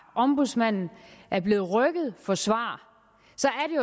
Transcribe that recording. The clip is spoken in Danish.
ombudsmanden er blevet rykket for svar